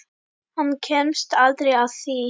Hann kemst aldrei að því.